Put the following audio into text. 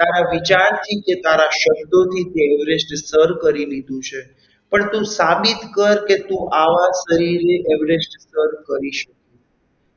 તારા વિચારથી કે તારા શબ્દોથી તે everest સર કરી લીધું છે પણ તું સાબિત કરકે તું આવા શરીરે everest સર કરી શકીશ